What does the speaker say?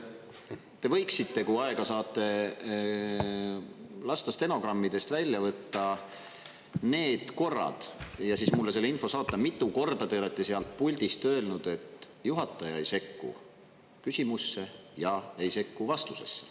Te võiksite, kui aega saate, lasta stenogrammidest välja võtta need korrad ja siis mulle selle info saata, kui mitu korda te olete sealt puldist öelnud, et juhataja ei sekku küsimusse ja ei sekku vastusesse.